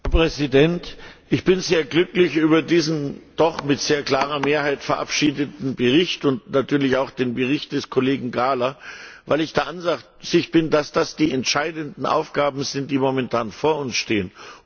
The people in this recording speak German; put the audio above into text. Herr Präsident! Ich bin sehr glücklich über diesen doch mit sehr klarer Mehrheit verabschiedeten Bericht, und natürlich auch den Bericht des Kollegen Gahler, weil ich der Ansicht bin, dass das die entscheidenden Aufgaben sind, die momentan vor uns stehen.